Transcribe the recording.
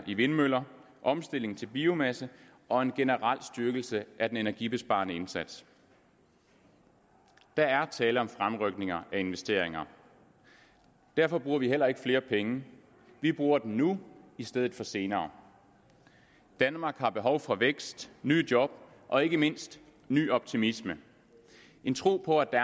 i vindmøller omstilling til biomasse og en generel styrkelse af den energibesparende indsats der er tale om fremrykninger af investeringer derfor bruger vi heller ikke flere penge vi bruger dem nu i stedet for senere danmark har behov for vækst nye job og ikke mindst ny optimisme en tro på at